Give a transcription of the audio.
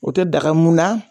O te daga mun na